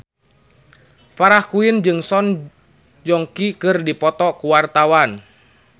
Farah Quinn jeung Song Joong Ki keur dipoto ku wartawan